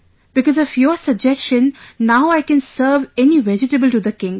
Because of your suggestion now I can serve any vegetable to the king